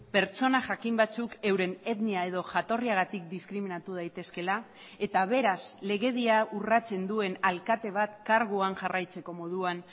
pertsona jakin batzuk euren etnia edo jatorriagatik diskriminatu daitezkeela eta beraz legedia urratzen duen alkate bat karguan jarraitzeko moduan